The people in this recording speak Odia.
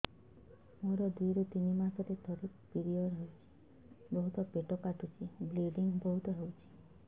ମୋର ଦୁଇରୁ ତିନି ମାସରେ ଥରେ ପିରିଅଡ଼ ହଉଛି ବହୁତ ପେଟ କାଟୁଛି ବ୍ଲିଡ଼ିଙ୍ଗ ବହୁତ ହଉଛି